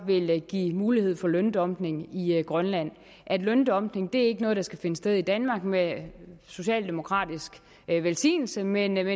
vil give mulighed for løndumping i grønland løndumping er ikke noget der skal finde sted i danmark med socialdemokratisk velsignelse men